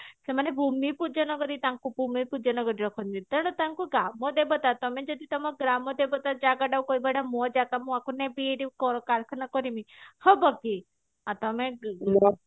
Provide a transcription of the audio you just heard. ସେମାନେ ଭୂମି ପୂଜନ କରି ତାଙ୍କୁ ଭୂମି ପୂଜନ କରି ରଖନ୍ତି ତେଣୁ ତାଙ୍କୁ ଗ୍ରାମ ଦେବତା ତମେ ଯଦି ତମ ଗ୍ରାମ ଦେବତା ଜାଗାଟାକୁ କହିବ ଏଟା ମୋ ଜାଗା ମୁଁ ଏଟାକୁ ନେବି ଏଠି କର କରେଖାନା କରିମି ହବ କି ଆଉ ତମେ